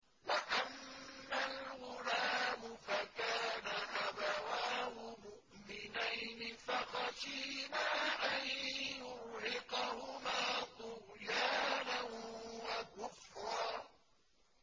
وَأَمَّا الْغُلَامُ فَكَانَ أَبَوَاهُ مُؤْمِنَيْنِ فَخَشِينَا أَن يُرْهِقَهُمَا طُغْيَانًا وَكُفْرًا